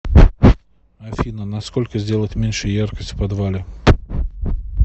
афина на сколько сделать меньше яркость в подвале